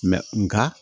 nka